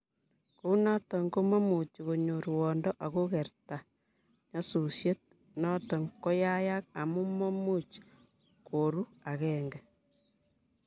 kunoto komuchi konyor ruondo ago Gerta nyasusiet noto koyayak amu much kooruu agenge